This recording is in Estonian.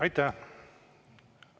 Aitäh!